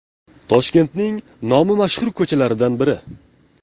Toshkentning nomi mashhur ko‘chalaridan biri.